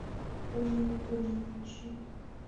помню не помню включи